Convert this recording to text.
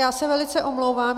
Já se velice omlouvám.